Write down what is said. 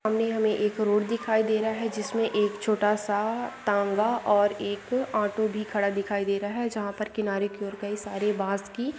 हमने हमें एक रोड दिखाई दे रहा है जिसमें एक छोटा सा तांगा और एक ऑटो भी खड़ा दिखाई दे रहा है। जहां पर किनारे की ओर गई सारी बास की--